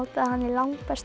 að hann er langbestur